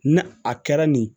Ni a kɛra nin